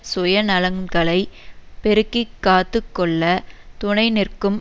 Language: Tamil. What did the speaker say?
சுயநலன்களைப் பெருக்கி காத்து கொள்ள துனைநிற்கும்